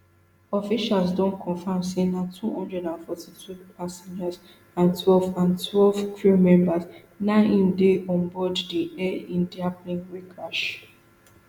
officials don confam say na two hundred and forty-two passengers and twelve and twelve crew members na im dey onboard di air india plane wey crash